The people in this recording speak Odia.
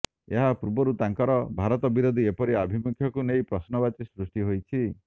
ଏହା ପୂର୍ବରୁ ତାଙ୍କର ଭାରତ ବିରୋଧୀ ଏପରି ଆଭିମୁଖ୍ୟକୁ ନେଇ ପ୍ରଶ୍ନବାଚୀ ସୃଷ୍ଟି ହୋଇଛି